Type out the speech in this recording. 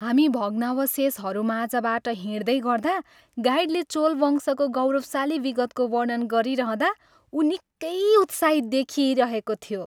हामी भग्नावशेषहरूमाझबाट हिँड्दै गर्दा गाइडले चोल वंशको गौरवशाली विगतको वर्णन गरिरहँदा ऊ निकै उत्साहित देखिइरहेको थियो।